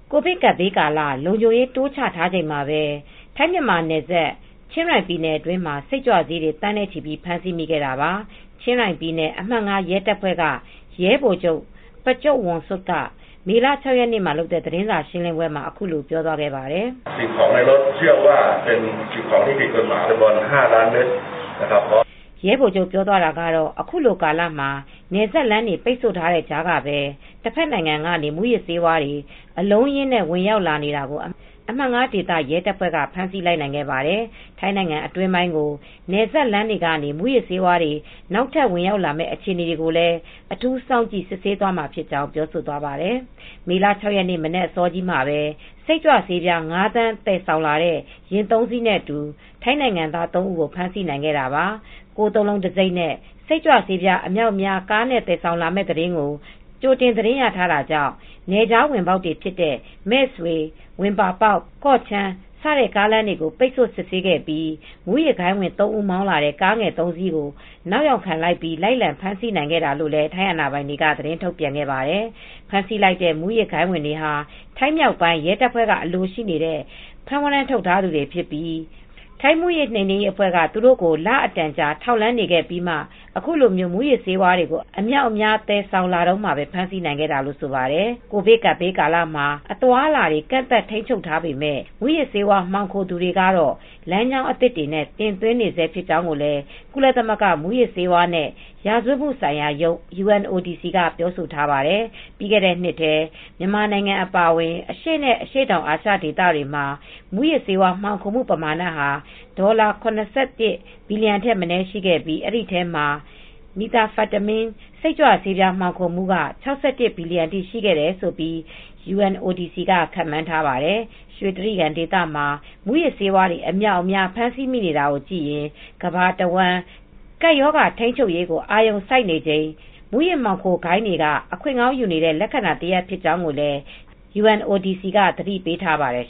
ကိုဗစ်ကပ်ဘေးကာလ လုံခြုံရေးတွေ တိုးချထားချိန်မှာပဲ ထိုင်း-မြန်မာနယ်စပ် ချင်းရိုင် ပြည်နယ်အတွင်းမှာ စိတ်ကြွဆေးတွေ သန်းနဲ့ ချီပြီး ဖမ်းဆီးမိခဲ့တာပါ။ ချင်းရိုင်ပြည်နယ် အမှတ် ရဲတပ်ဖွဲ့က ရဲဗိုလ်ချုပ် Prachuapwongsuk ကမေ လ ရက် နေ့သတင်းစာရှင်းလင်းပွဲမှာ အခုလိုပြောသွားပါတယ်။ ရဲဗိုလ်ချုပ် ပြောသွားတာကတာ့ “အခုလိုကာလမှာနယ်စပ်လမ်းတွ ပိတ်ဆို့ထားတဲ့ကြားကပဲ တဖက်နိုင်ငံကနေ မူးယစ်ဆေးတွေ အလုံးအရင်းနဲ့ ဝင်ရာက်လာနေတာကို အမှတ် ဒေသ ရဲတပ်ဖွဲ့က ဖမ်းဆီးလိုက်နိုင်ခဲ့ပါတယ်။ ထိုင်းနိုင်ငံအတွင်းပိုင်းကို နယ်စပ်လမ်းတွေက မူးယစ်ဆေးဝါးတွေ နောက်ထပ် ဝင်ရောက်လာမယ့် အခြေအနေ တွေကိုလည်း အထူး စောင့်ကြည့် စစ်ဆေး သွားမှာဖြစ်ကြောင်း” ပြောသွားပါတယ်။ မေလ ၆ ရက်နေ့ မနက်အစောကြီးမှာပဲ စိတ်ကြွဆေးပြား ၅ သန်း သယ်ဆောင်လာတဲ့ ယာဉ်သုံးစီးနဲ့ အတူ ထိုင်းနိုင်ငံသား သုံးဦးကို ဖမ်းဆီးနိုင်ခဲ့တာပါ။ ၉၉၉ တံဆိပ်နဲ့ စိတ်ကြွဆေးပြား အမြာက်အများကားနဲ့ သယ်ဆောင်လာမယ့် သတင်းကို ကြိုတင်ရထားတာကြောင့် နယ်ခြား ဝင်ပါက် တွေဖြစ်တဲ့ မဲဆွေ-ဝင်ပါပေါက် ၊ ကော့ချန်း ကားလမ်းတွေကို ပိတ်ဆို့ စစ်ဆေးခဲ့ပြီး မူးယစ်ဂိုဏ်းဝင် သုံးဦး မောင်းလာတဲ့ ကားငယ်သုံးစီးကို နောက်ယောက်ခံပြီး လိုက်လံဖမ်းဆီးနိုင်ခဲ့တယ်လို့ ထိုင်းအာဏာပိုင်တွေက သတင်းထုတ်ပြန်ခဲ့ပါတယ်။ ဖမ်းဆီးလိုက်တဲ့ မူးယစ်ဂိုဏ်းဝင်တွေဟာ ထိုင်းမြောက်ပိုင်း ရဲတပ်ဖွဲ့က အလိုရှိ ဖမ်းဝရမ်း ထုတ်ထားသူတွေဖြစ်ပြီး ထိုင်းမူးယစ်နိမ်နင်းရေးအဖွဲ့က သူတို့ကို လအတန်ကြာ ထောက်လှမ်း နေခဲ့ပြီးမှ ခုလို မူးယစ်ဆေးတွေကို အမြောက်အများ သယ်ဆာင်လာတုန်းမှာပဲ ဖမ်ဆီးနိုင်ခဲ့တာလို့ ဆိုပါတယ်။ ကိုဗစ်ကပ်ရောဂါကာလမှာ အသွားအလာတွေ ကန့်သတ် ထိန်းချုပ်ထားပေမဲ့ မူးယစ်ဆေးဝါး မှောင်ခိုသူတွေကတော့ လမ်းကြောင်းသစ်တွေနဲ့ တင်သွင်းနေဆဲ ဖြစ်ကြောင်းလည်း ကုလသမဂ္ဂ မူးယစ်ဆေးဝါးနဲ့ ရာဇဝတ်မှုဆိုင်ရာရုံး က ပြောဆိုထားပါတယ်။ ပြီးခဲ့တဲ့နှစ်ထဲ မြန်မာနိုင်ငံအပါအဝင် အရှေ့နဲ့ အရှေ့တောင်အာရှ ဒေသမှာ မူးယစ်ဆေးဝါး မှောင်ခိုမှုပမာဏဟာ ဒေါ်လာ ၇၁ ဘီလီယံထက်မနည်း ရှိခဲ့ပြီး၊ ဒီအထဲမှာ Methamphetamine စိတ်ကြွဆေး မှောင်ခိုမှုက ၆၁ ဘီလီယံအထိ ရှိတယ်လို့လည်း UNODC က ခန့်မှန်းထားပါတယ်။ ရွှေတြိဂံဒေသမှာ မူးယစ်ဆေးတွေ အများအပြား ဖမ်းဆီးမိနေတာကိုကြည့်ရင် ကမ္ဘာတဝန်း ကပ်ရောဂါထိန်းချုပ်ရေး အာရုံစိုက်နေချိန် မူးယစ်ဆေးမှောင်ခိုဂိုဏ်းတွေက အခွင့်ကောင်းယူနေတဲ့ လက္ခဏာတရပ် ဖြစ်ကြောင်းလည်း UNODC က သတိပေးထားပါတယ်